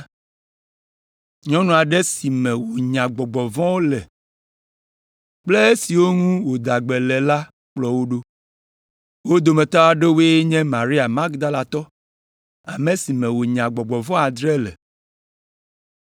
Nyɔnu aɖe si me wònya gbɔgbɔ vɔ̃wo le kple esiwo ŋu wòda gbe le la kplɔ wo ɖo. Wo dometɔ aɖewoe nye Maria Magdalatɔ ame si me wònya gbɔgbɔ vɔ̃ adre le,